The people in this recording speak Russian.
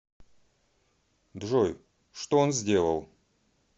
джой что он сделал